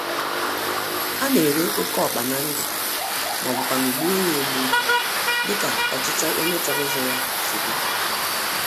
Ana-ere oke ọkpa na ndụ, mọbụkwanụ̀ gbuo ya egbuo, dịka ọchịchọ onye chọrọ ịzụ ya si d